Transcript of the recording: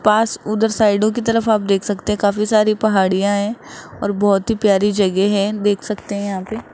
पास उधर साइडो की तरफ आप देख सकते हैं काफी सारी पहाड़ियां हैं और बहोत ही प्यारी जगह है देख सकते हैं यहां पे।